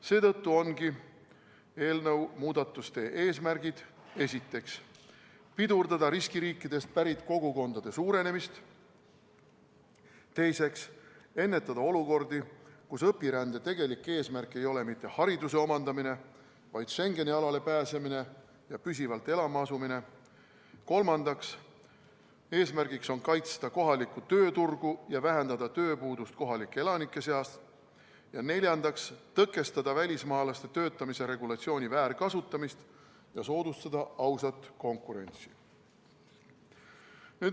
Seetõttu ongi eelnõu muudatuste eesmärgid järgmised: esiteks, pidurdada riskiriikidest pärit kogukondade suurenemist; teiseks, ennetada olukordi, kus õpirände tegelik eesmärk ei ole mitte hariduse omandamine, vaid Schengeni alale pääsemine ja siin püsivalt elama asumine; kolmas eesmärk on kaitsta kohalikku tööturgu ja vähendada tööpuudust kohalike elanike seas; neljas on tõkestada välismaalaste töötamise regulatsiooni väärkasutamist ja soodustada ausat konkurentsi.